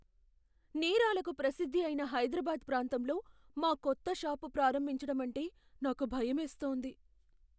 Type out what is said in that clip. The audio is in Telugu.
నేరాలకు ప్రసిద్ధి అయిన హైదరాబాద్ ప్రాంతంలో మా కొత్త షాపు ప్రారంభించటం అంటే నాకు భయమేస్తోంది.